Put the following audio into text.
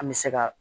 An bɛ se ka